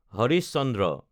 Harish Chandra